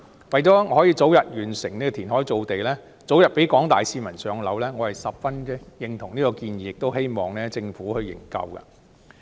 為了可以早日完成填海造地，讓廣大市民早日"上樓"，我十分認同此項建議，亦希望政府可以研究。